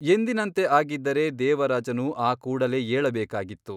ಎಂದಿನಂತೆ ಆಗಿದ್ದರೆ ದೇವರಾಜನು ಆ ಕೂಡಲೇ ಏಳಬೇಕಾಗಿತ್ತು.